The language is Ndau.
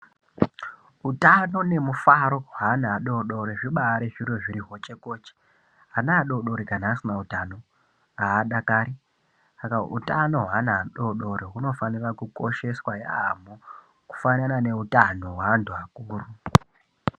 Utano nemufaro hweana adoodori zvibaari zviro zvine hochekoche. Ana adoodori kana asina utano haadakari. Saka hutano hweana adoodori hunofanira kukosheswa yaamho kufanana neutano hweanhu akuru.